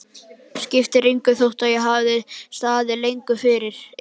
Skiptir engu, þótt það hafi ekki staðið lengur yfir.